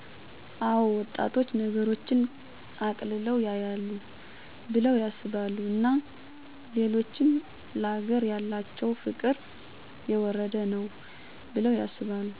አዎ ወጣቶች ነገሮችን አቅልለው ያያሉ ቢለው ያስባሉ እና ሌሎችም ለአገር ያላቸው ፍቅር የወረደ ነው ባለው ያስባሉ።